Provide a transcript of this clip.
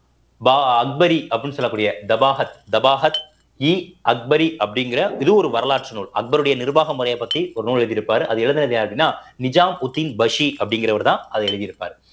வ அக்பரி அப்படின்னு சொல்லக்கூடிய தபாகத் தபாகத் இ அக்பரி அப்படிங்கிற இது ஒரு வரலாற்று நூல் அக்பருடைய நிர்வாக முறையைப் பத்தி ஒரு நூல் எழுதியிருப்பார் அத எழுதினது யாரு அப்டின்னா நிஜாமுதீன் பக்ஷி அப்படிங்கிறவர்தான் அதை எழுதி இருப்பாரு